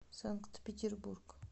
санкт петербург